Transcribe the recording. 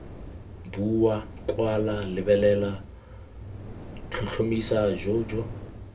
bua kwala lebelela tlhotlhomisa jj